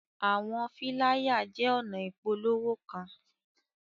Awọn filaya jẹ ọna ipolowo kan